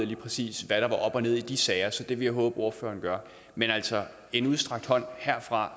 lige præcis hvad der var op og ned i de sager så det vil jeg håbe ordføreren gør men altså en udstrakt hånd herfra